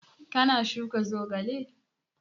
Ka na shuka zogale?